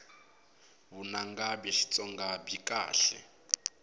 vunanga bya xitsonga byi kahle